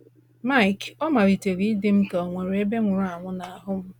Mike: “Ọ malitere ịdị m ka onwere ebe nwụrụ anwụ na ahụ m.